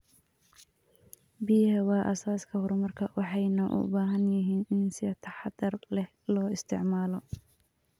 Biyaha waa aasaaska horumarka, waxayna u baahan yihiin in si taxadar leh loo isticmaalo.